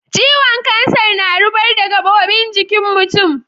ciwon kansar na rubar da gabobin jikin mutum.